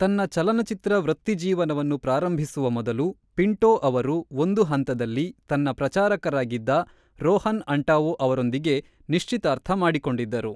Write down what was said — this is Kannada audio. ತನ್ನ ಚಲನಚಿತ್ರ ವೃತ್ತಿಜೀವನವನ್ನು ಪ್ರಾರಂಭಿಸುವ ಮೊದಲು, ಪಿಂಟೋ ಅವರು ಒಂದು ಹಂತದಲ್ಲಿ ತನ್ನ ಪ್ರಚಾರಕರಾಗಿದ್ದ ರೋಹನ್ ಆಂಟಾವೊ ಅವರೊಂದಿಗೆ ನಿಶ್ಚಿತಾರ್ಥ ಮಾಡಿಕೊಂಡಿದ್ದರು.